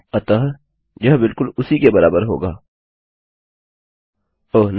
अतः यह बिलकुल उसकी के बराबर होगा ओह नहीं